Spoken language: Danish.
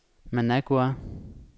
Managua